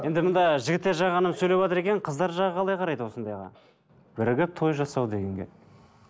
енді мында жігіттер жағы ғана сөйлеватыр екен қыздар жағы қалай қарайды осындайға бірігіп той жасау дегенге